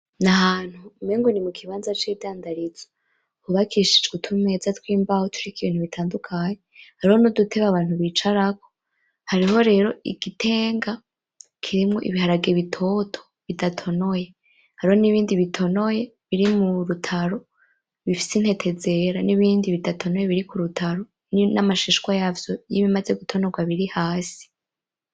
N'ahantu umengo ni mukibanza c'idandarizo hubakishijwe utumeza tw'imbaho, turiko ibintu bitandukanye ,hariho n'udutebe Abantu bicarako hariho rero igitenga kirimwo Ibiharage bitoto bidatonoye ,hariho n'ibi bitonoye birimurutaro bifise intete zera, n'ibindi bidatonoye biri kudutaro nam'amashishwa yavyo ,y'ibimaze gutonorwa biri hasi.